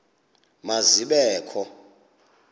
ma zibe kho